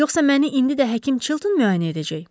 Yoxsa məni indi də həkim Çilton müayinə edəcək?